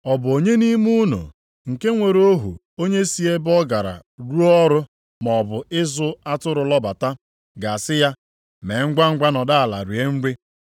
“Ọ bụ onye nʼime unu nke nwere ohu onye si ebe ọ gara rụọ ọrụ maọbụ ịzụ atụrụ lọbata, ga-asị ya, ‘Mee ngwangwa nọdụ ala rie nri’?